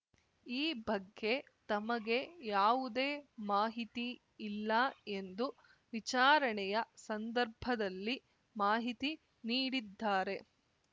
ಈ ಬಗ್ಗೆ ತಮಗೆ ಯಾವುದೇ ಮಾಹಿತಿ ಇಲ್ಲ ಎಂದು ವಿಚಾರಣೆಯ ಸಂದರ್ಭದಲ್ಲಿ ಮಾಹಿತಿ ನೀಡಿದ್ದಾರೆ